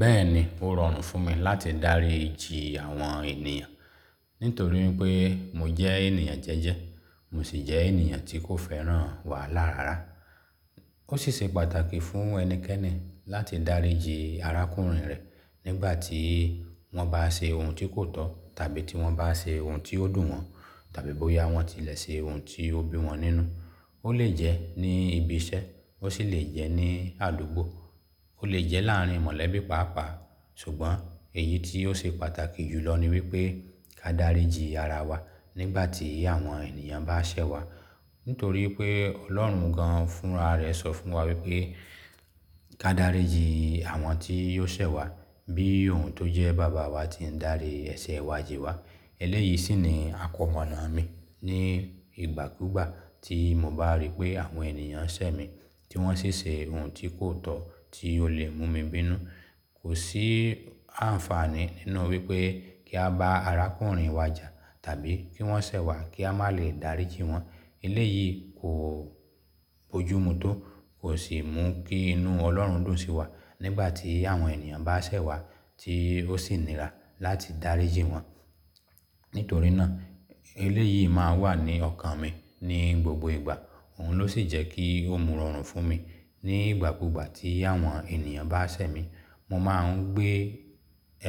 Bẹ́ẹ̀ni, ó rọrùn fún mi láti dáríji àwọn ènìyàn nítorí wipé mo jẹ́ ènìyàn jẹ́jẹ́, mo sì jẹ́ ènìyàn tí kò fẹ́ràn wàhálà rárá. Ó sì ṣe pàtàkì fún ẹnikẹ́ni láti dáríji arákùnrin rẹ̀ nígbà tí wọ́n bá ṣe ohun tí kò tọ́ tàbí tí wọ́n bá ṣe ohun tí ó dùn wọ́n tàbí bóyá wọ́n ti lẹ̀ ṣe ohun tí ó bí wọ́n nínú. Ó lè jẹ́ ní ibi iṣẹ́, ó sì lè jẹ́ ní àdúgbò, ó lè jẹ́ láàárín mọ̀lẹ́bí pàápàá. Ṣùgbọ́n èyí tí ó ṣe pàtàkì jùlọ ni wípé ká dáríji arawa nígbà tí àwọn ènìyàn bá ṣẹ̀ wá. Nítorí pé Ọlọ́run gan fúnra rẹ̀ sọ fún wa wípé ká dáríji àwọn tí yóò ṣẹ̀ wá bí òun tó jẹ́ Baba wa ti ń darí ẹ̀ṣẹ̀ wa jì wá. Eléyìí ṣì ni àkọ́monáà mi ní ìgbàkúùgbà tí mo bá rí pé àwọn ènìyàn ṣẹ̀ mi tí wọ́n sì ṣe ohun tí kò tọ́ tí ó lè mú mi bínú. Kò sí àǹfààní nínú wípé kí a bá arákùnrin wa jà tàbí kí wọ́n ṣẹ̀ wá kí a má lè dáríji wọ́n. Eléyìí kò bójúmu tó, kò sì mú kí inú Ọlọ́run dùn sí wa nígbà tí àwọn ènìyàn bá ṣẹ̀ wá tí ó sì nira láti dáríji wọ́n. Nítorí náà eléyìí máa ń wà ní ọkàn mi ní gbogbo ìgbà. Òhun ló sì jẹ́ kí ó mu rọrùn fún mi nígbàkúùgbà tí àwọn ènìyàn bá ṣẹ̀ mi. Mo máa ń gbé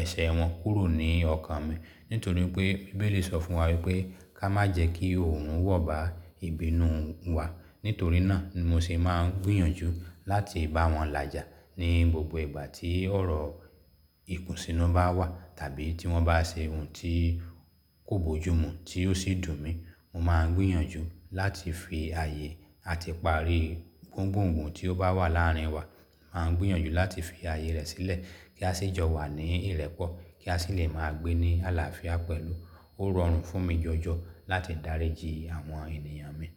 ẹ̀ṣẹ̀ wọn kúrò ní ọkàn mi. Nítorí pé Bíbélì sọ fún wa wípé ká má jẹ́ kí òrun wọ̀ bá ìbínú wa. Nítorí náà ni mo sì máa ń gbìyànjú láti bá wọn làjà ní gbogbo ìgbà tí ọ̀rọ̀ ìkùnsínú bá wà tàbí tí wọ́n bá ṣe ohun tí kò bójúmu tí ó sì dùn mi. Mo máa ń gbìyànjú láti fi ààyè àti parí gbóǹgbòǹgbọ̀n tí ó bá wà láàárín wa. Máa ń gbìyànjú láti fi ààyè rẹ̀ sílẹ̀ kí a sì jọ wà ní ìrẹ́pọ̀ kí a sì lè máa gbé ní àlàáfíà pẹ̀lú. Ó rọrùn fún mi jọjọ láti dáríji àwọn ènìyàn mi.